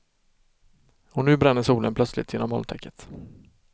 Och nu bränner solen plötsligt genom molntäcket.